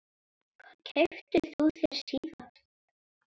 Hvað keyptir þú þér síðast?